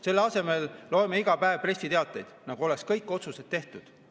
Selle asemel loeme iga päev pressiteateid, nagu oleks kõik otsused tehtud.